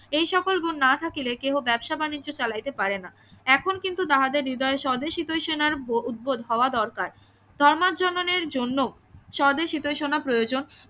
এই সকল গুণ না থাকিলে কেহ ব্যাবসা বাণিজ্য চালাইতে পারে না এখন কিন্তু তাহাদের হৃদয় স্বদেশ হিতৈষী সেনার উদ্ভব হওয়া দরকার জন্য স্বদেশ হিতৈষণা প্রয়োজন